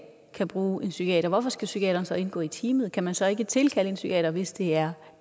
kan bruge en psykiater hvorfor skal psykiateren så indgå i teamet kan man så ikke tilkalde en psykiater hvis det er